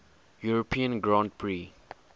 european grand prix